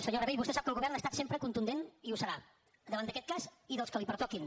senyor rabell vostè sap que el govern ha estat sempre contundent i ho serà davant d’aquest cas i dels que li pertoquin